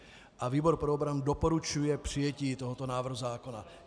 A výbor pro obranu doporučuje přijetí tohoto návrhu zákona.